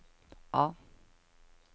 A